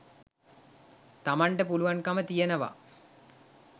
තමන්ට පුළුවන්කම තියෙනවා.